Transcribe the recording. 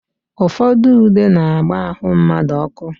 Ụfọdụ ude na-agba ahụ mmadụ ọkụ.